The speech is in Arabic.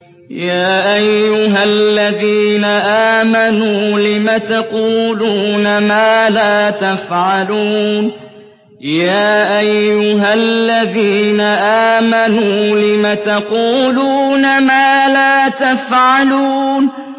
يَا أَيُّهَا الَّذِينَ آمَنُوا لِمَ تَقُولُونَ مَا لَا تَفْعَلُونَ